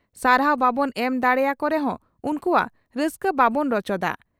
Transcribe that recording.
ᱥᱟᱨᱦᱟᱣ ᱵᱟᱵᱚᱱ ᱮᱢ ᱫᱟᱲᱮᱭᱟ ᱠᱚ ᱨᱮᱦᱚᱸ ᱩᱱᱠᱩᱣᱟᱜ ᱨᱟᱹᱥᱠᱟᱹ ᱵᱟᱵᱚᱱ ᱨᱚᱪᱚᱫᱟ ᱾